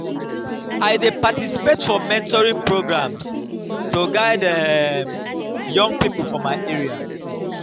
i dey participate for mentoring programs to guide um young people for my area.